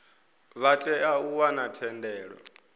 vha tea u wana thendelo